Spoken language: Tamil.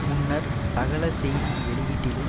முன்னர் சகல செய்தி வெளியீட்டிலும்